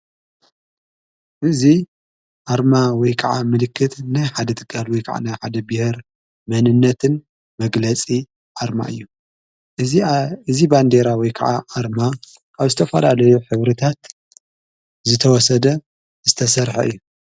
እዙ ኣርማ ወይ ከዓ ምልክት ናይ ሓደ ሃገር ወይ ከዕነ ሓደ ብሔር መንነትን መግለጺ ኣርማ እዩ። እዚ። ባንዴራ ወይ ከዓ ኣርማ ካብ ዝተፍላለዮ ኅብርታት ዝተወሰደ ዝተሠርሐ እዩ።